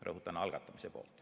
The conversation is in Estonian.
Rõhutan: algatamise poolt.